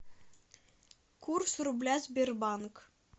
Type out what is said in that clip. курс рубля сбербанк